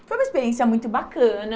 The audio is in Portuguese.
Foi uma experiência muito bacana.